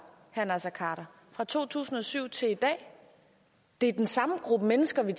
fra to tusind og syv til i dag det er den samme gruppe mennesker vi